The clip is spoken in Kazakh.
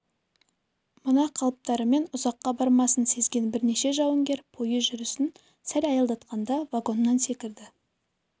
мына қалыптарымен ұзаққа бармасын сезген бірнеше жауынгер пойыз жүрісін сәл аялдатқанда вагоннан секірді